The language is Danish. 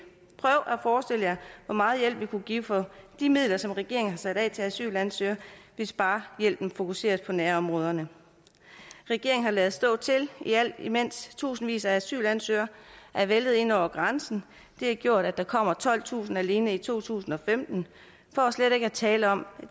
forestille jer hvor meget hjælp vi kunne give for de midler som regeringen har sat af til asylansøgere hvis bare hjælpen fokuseres på nærområderne regeringen har ladet stå til imens tusindvis af asylansøgere er væltet ind over grænsen det har gjort at der kommer tolvtusind alene i to tusind og femten for slet ikke at tale om